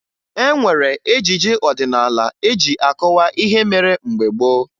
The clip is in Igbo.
E nwere ejije ọdịnaala eji akọwa ihe mere mgbe gboo